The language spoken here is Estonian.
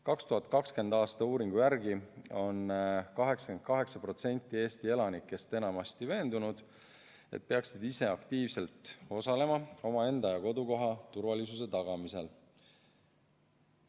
2020. aasta uuringu järgi on 88% Eesti elanikest enamasti veendunud, et peaksid ise aktiivselt osalema omaenda ja kodukoha turvalisuse tagamisel.